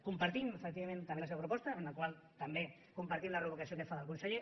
compartim efectivament també la seva proposta de la qual compartim també la reprovació que es fa del conseller